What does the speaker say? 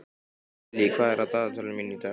Gillý, hvað er á dagatalinu mínu í dag?